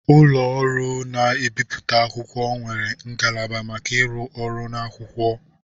Ụlọ ọrụ na-ebipụta akwụkwọ nwere ngalaba maka ịrụ ọrụ na akwụkwọ.